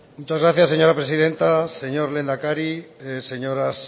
muchas gracias señora presidenta señor lehendakari señoras